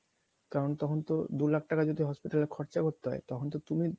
কারণ তখনতো দু লক্ষ টাকা যদি hospital এ খরচা করতে হয় তখন তো তুমি